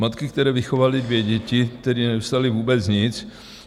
Matky, které vychovaly dvě děti, tedy nedostaly vůbec nic.